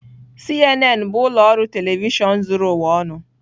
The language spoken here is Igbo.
CNN bụ ụlọ ọrụ telivishọn zuru ụwa ọnụ.